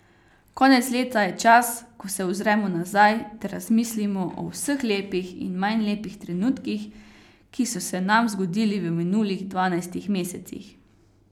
Konec leta je čas, ko se ozremo nazaj ter razmislimo o vseh lepih in manj lepih trenutkih, ki so se nam zgodili v minulih dvanajstih mesecih.